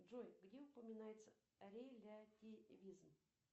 джой где упоминается релятивизм